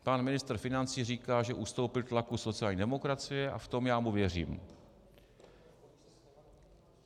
Pan ministr financí říká, že ustoupil tlaku sociální demokracie, a v tom já mu věřím.